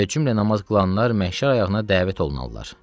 Və cümlə namaz qılanlar məhşər ayağına dəvət olunaralar.